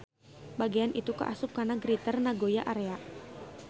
Bagean itu kaasup kana Greater Nagoya Area.